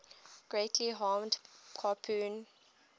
greatly harmed capone